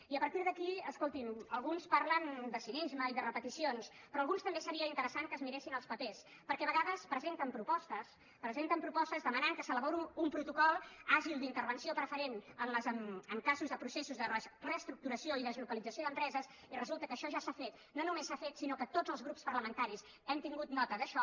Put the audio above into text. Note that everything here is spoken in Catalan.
i a partir d’aquí escolti’m alguns parlen de cinisme i de repeticions però alguns també seria interessant que es miressin els papers perquè a vegades presenten propostes presenten propostes que demanen que s’elabori un protocol àgil d’intervenció preferent en casos de processos de reestructuració i deslocalització d’empreses i resulta que això ja s’ha fet no només s’ha fet sinó que tots els grups parlamentaris hem tingut nota d’això